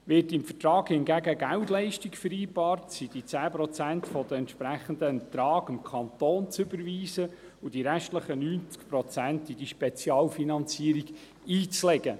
Wird hingegen im Vertrag eine Geldleistung vereinbart, sind die 10 Prozent des entsprechenden Ertrags dem Kanton zu überweisen und die restlichen 90 Prozent in die Spezialfinanzierung einzulegen.